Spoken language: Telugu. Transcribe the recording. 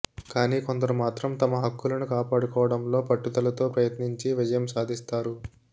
కానీ కొందరు మాత్రం తమ హక్కులను కాపాడుకోవడంలో పట్టదులతో ప్రయత్నించి విజయం సాధిస్తారు